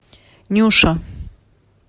нюша